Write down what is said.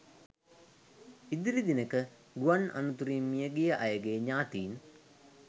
ඉදිරි දිනක ගුවන් අනතුරින් මියගිය අයගේ ඥාතීන්